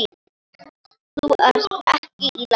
Þú ert ekki í lagi.